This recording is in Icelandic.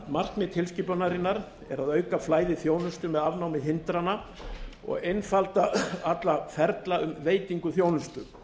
markmið tilskipunarinnar er að auka flæði þjónustu með afnámi hindrana og einfalda alla ferla um veitingu þjónustu